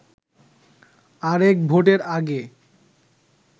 আরেক ভোটের আগে